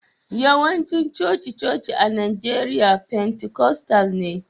Yawancin coci-coci a Najeriya pentikostal ne